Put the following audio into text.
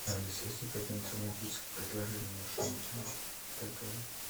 алиса есть ли какие нибудь романтические предложения в вашем отеле для двоих